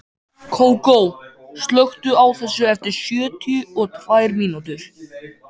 Kókó, slökktu á þessu eftir sjötíu og tvær mínútur.